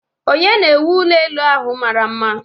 Ònye na-ewu ụlọ elu ahụ mara mma?